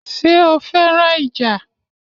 Ṣé o fẹ́ràn ìjà?